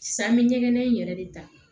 San bɛ ɲɛgɛn in yɛrɛ de ta